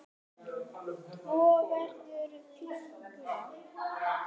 Hvort vegur þyngra?